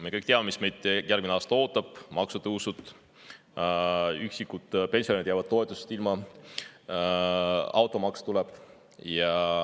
Me kõik teame, mis meid järgmine aasta ootab: maksutõusud, üksi elavad pensionärid jäävad toetusest ilma, automaks tuleb.